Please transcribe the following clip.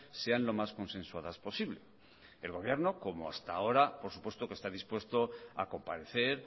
sean lo más consensuadas posible el gobierno como hasta ahora por supuesto que está dispuesto a comparecer